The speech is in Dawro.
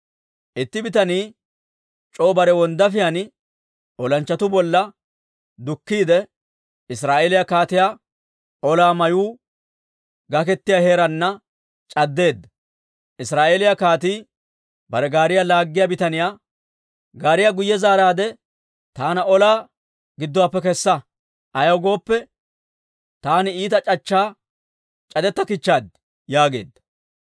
Itti bitanii c'oo bare wonddaafiyaan olanchchatuu bolla dukkiide, Israa'eeliyaa kaatiyaa olaa mayuu gaketiyaa heeraana c'addeedda. Israa'eeliyaa kaatii bare gaariyaa laaggiyaa bitaniyaa, «Gaariyaa guyye zaaraadde, taana olaa gidduwaappe kessa. Ayaw gooppe, taani iita c'achchaa c'adettakichchaad» yaageedda.